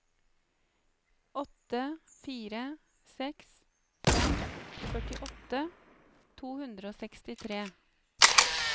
åtte fire seks fem førtiåtte to hundre og sekstitre